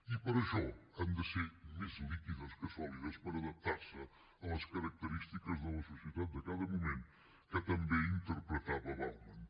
i per això han de ser més líquides que sòlides per adaptar se a les característiques de la societat de cada moment com també interpretava bauman